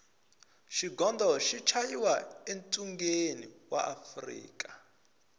xigondo xi chayiwa e tshungeni wa afrika